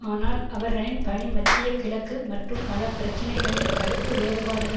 ஆனால் அவர்களின் பணி மத்திய கிழக்கு மற்றும் பல பிரச்சினைகளில் கருத்து வேறுபாடுகள்